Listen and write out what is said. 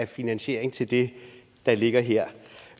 finansiering til det der ligger her